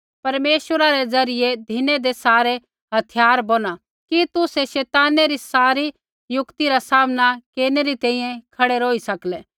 परमेश्वरा रै ज़रियै धिनैदै सारै हथियार बोहना कि तुसै शैताने री सारी युक्ति रा सामना केरनै री तैंईंयैं खड़ै रौही सके